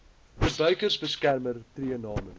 verbruikersbeskermer tree namens